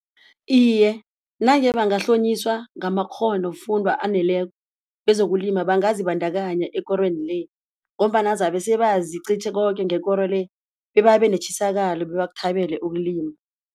Iye, nange bangahlonyiswa ngamakghonofundwa aneleko kezokulima bangazibandakanya ekorweni le ngombana zabe sebazi qitjhe koke ngekoro le bebabe netjisakalo bebakuthabele ukulima.